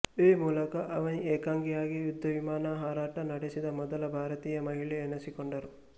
ಈ ಮೂಲಕ ಅವನಿ ಏಕಾಂಗಿಯಾಗಿ ಯುದ್ಧವಿಮಾನ ಹಾರಾಟ ನಡೆಸಿದ ಮೊದಲ ಭಾರತೀಯ ಮಹಿಳೆ ಎನಿಸಿಕೊಂಡರು